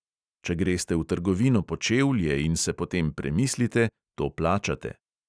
Če greste v trgovino po čevlje in se potem premislite, to plačate.